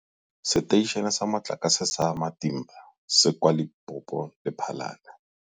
Seteišene sa Motlakase sa Matimba se kwa Lephalale, Limpopo.